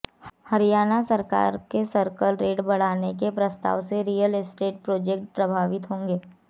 हरियाणा सरकार के circle rate बढ़ाने के प्रस्ताव से रियल एस्टेट प्रोजेक्ट प्रभावित होंगे